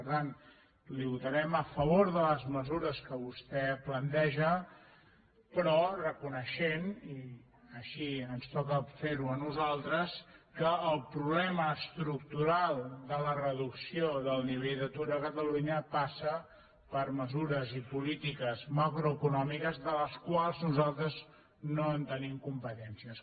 per tant li votarem a favor de les mesures que vostè planteja però reconeixent i així ens toca fer ho a nosaltres que el problema estructural de la reducció del nivell d’atur a catalunya passa per mesures i polítiques macroeconòmiques de les quals nosaltres no tenim competències